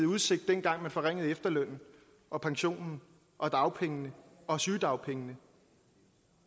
udsigt dengang man forringede efterlønnen og pensionen og dagpengene og sygedagpengene